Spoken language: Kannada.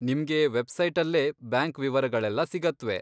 ನಿಮ್ಗೆ ವೆಬ್ಸೈಟಲ್ಲೇ ಬ್ಯಾಂಕ್ ವಿವರಗಳೆಲ್ಲ ಸಿಗತ್ವೆ.